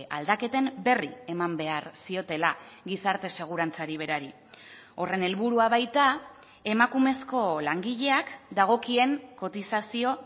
aldaketen berri eman behar ziotela gizarte segurantzari berari horren helburua baita emakumezko langileak dagokien kotizazio